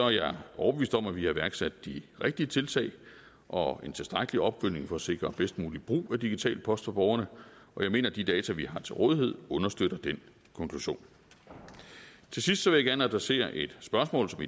jeg overbevist om at vi har iværksat de rigtige tiltag og en tilstrækkelig opfølgning for at sikre den bedst mulige brug af digital post for borgerne og jeg mener at de data vi har til rådighed understøtter den konklusion til sidst vil jeg gerne adressere et spørgsmål som